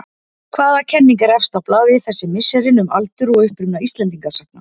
Hvaða kenning er efst á blaði þessi misserin um aldur og uppruna Íslendingasagna?